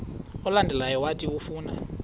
olandelayo owathi ufuna